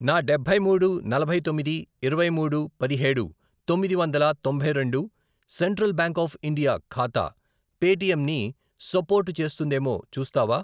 నా డబ్బై మూడు, నలభై తొమ్మిది, ఇరవై మూడు పదిహేడు, తొమ్మిది వందల తొంభై రెండు, సెంట్రల్ బ్యాంక్ ఆఫ్ ఇండియా ఖాతా పేటిఎమ్ ని సపోర్టు చేస్తుందేమో చూస్తావా?